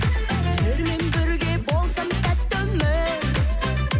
сендермен бірге болсам тәтті өмір